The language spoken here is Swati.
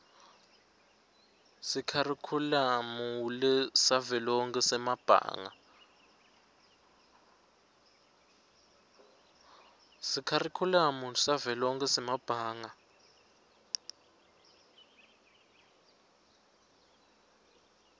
sekharikhulamu savelonkhe semabanga